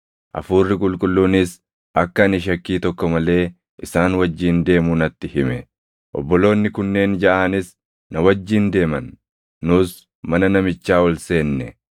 Hafuurri Qulqulluunis akka ani shakkii tokko malee isaan wajjin deemu natti hime. Obboloonni kunneen jaʼaanis na wajjin deeman; nus mana namichaa ol seenne.